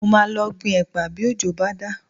Mo máa lọ gbin ẹ̀pà bí òjò bá dá